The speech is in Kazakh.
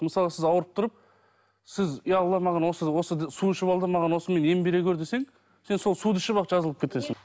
мысалы сіз ауырып тұрып сіз иә алла маған осы су ішіп ал да маған осымен ем бере көр десең сен сол суды ішіп ақ жазылып кетесің